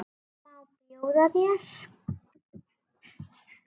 Má bjóða þér?